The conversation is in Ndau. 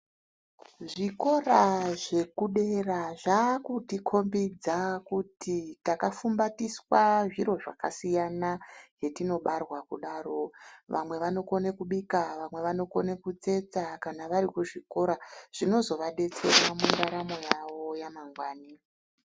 Zvikora zvekudera zvakutikombidza kuti takafumbatiswa zviro zvakasiyana zvetinobarwa kudaro. Vamwe vanokone kubika vamwe vanokone kutsetsa kana vari kuzvikora. Zvinozovabetsera mundaramo yavo yamangwani.